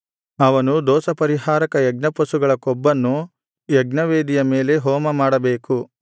ಅವನು ದೋಷಪರಿಹಾರಕ ಯಜ್ಞಪಶುಗಳ ಕೊಬ್ಬನ್ನು ಯಜ್ಞವೇದಿಯ ಮೇಲೆ ಹೋಮಮಾಡಬೇಕು